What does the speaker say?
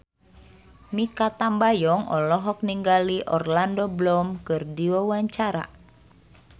Mikha Tambayong olohok ningali Orlando Bloom keur diwawancara